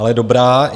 Ale dobrá.